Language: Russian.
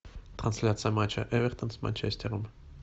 трансляция матча эвертон с манчестером